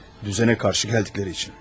Düzənə qarşı gəldikləri üçün.